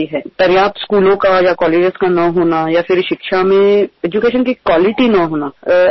योग्य शाळा किंवा कॉलेज उपलब्ध नसणे किंवा शिक्षणाचा दर्जा नसणे